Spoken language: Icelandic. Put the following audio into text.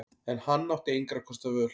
En hann átti engra kosta völ.